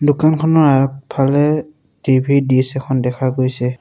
দোকানখনৰ আগফালে টি_ভি দিছ এখন দেখা গৈছে।